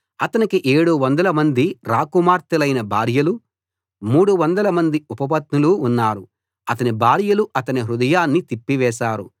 అతనికి 700 మంది రాకుమార్తెలైన భార్యలూ 300 మంది ఉపపత్నులూ ఉన్నారు అతని భార్యలు అతని హృదయాన్ని తిప్పివేశారు